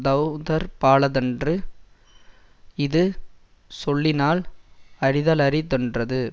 தௌதற்பாலதன்று இது சொல்லினால் அறிதலரிதென்றது